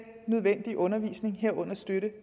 nødvendige undervisning herunder støtte